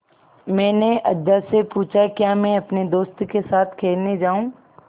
मैंने अज्जा से पूछा क्या मैं अपने दोस्तों के साथ खेलने जाऊँ